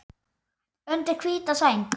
Undir hvíta sæng.